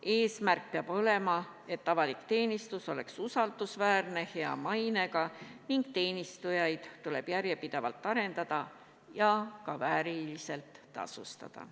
Eesmärk peab olema, et avalik teenistus oleks usaldusväärne ja hea mainega, meie teenistujaid tuleb järjepidevalt arendada ja ka vääriliselt tasustada.